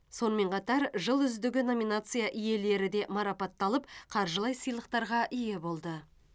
сонымен қатар жыл үздігі номинация иелері де марапатталып қаржылай сыйлықтарға ие болды